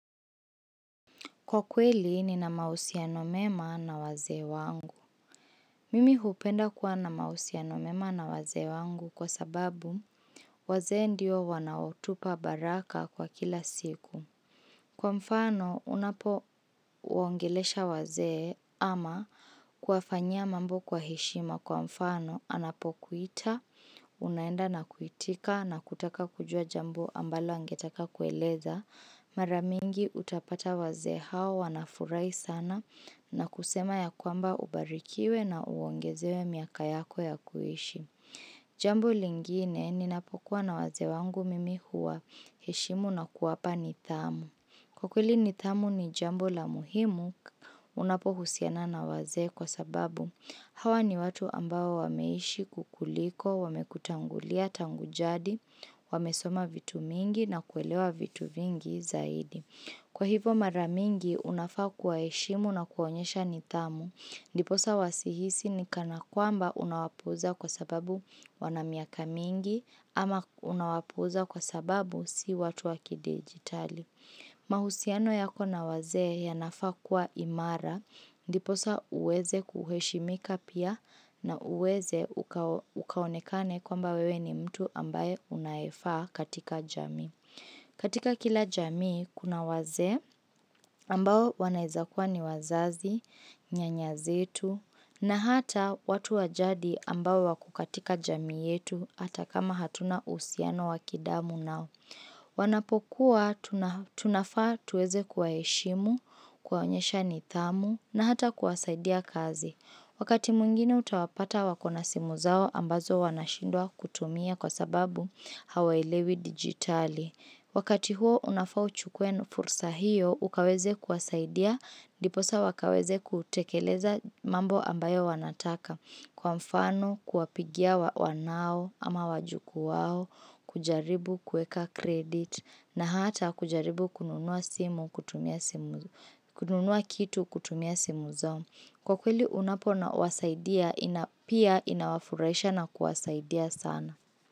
Kwa kweli nina mahusiano mema na wazee wangu. Mimi hupenda kuwa na mahusiano mema na wazee wangu kwa sababu wazee ndio wanaotupa baraka kwa kila siku. Kwa mfano unapoongelesha wazee ama kuwafanyia mambo kwa heshima kwa mfano anapokuita, unaenda na kuitika na kutaka kujua jambo ambalo angetaka kueleza. Maramingi utapata waze hao wanafurahi sana na kusema ya kwamba ubarikiwe na uongezewe miaka yako ya kuishi Jambo lingine ninapokuwa na wazee wangu mimi huwaheshimu na kuwapa nidhamu Kwa kweli nidhamu ni jambo la muhimu unapohusiana na wazee kwa sababu Hawa ni watu ambao wameishi kukuliko, wamekutangulia tangu jadi, wamesoma vitu mingi na kuelewa vitu vingi zaidi. Kwa hivo mara mingi, unafaa kuwaheshimu na kuonyesha nidhamu. Ndiposa wasihisi ni kana kwamba unawapuuza kwa sababu wana miaka mingi ama unawapuuza kwa sababu si watu wa kidijitali. Mahusiano yako na wazee yanafaa kuwa imara ndiposa uweze kuheshimika pia na uweze ukaonekane kwamba wewe ni mtu ambaye unayefaa katika jamii. Katika kila jamii kuna wazee ambao wanaeza kuwa ni wazazi, nyanya zetu na hata watu wa jadi ambao wako katika jamii yetu hata kama hatuna uhusiano wa kidamu nao. Wanapokuwa, tunafaa tuweze kuwaheshimu, kuwaonyesha nidhamu na hata kuwasaidia kazi Wakati mwingine utawapata wako na simu zao ambazo wanashindwa kutumia kwa sababu hawaelewi dijitali Wakati huo unafau uchukue fursa hiyo, ukaweze kuwasaidia ndiposa wakaweze kutekeleza mambo ambayo wanataka Kwa mfano kuwapigia wanao ama wajukuu wao, kujaribu kuweka credit na hata kujaribu kununua kitu kutumia simu zao. Kwa kweli unapowasaidia, pia inawafurahisha na kuwasaidia sana.